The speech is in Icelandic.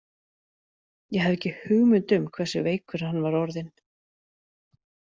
Ég hafði ekki hugmynd um hversu veikur hann var orðinn.